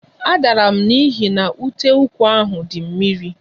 A dara m n'ihi na uteụkwụ di mmiri